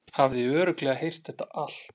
Hafði örugglega heyrt þetta allt.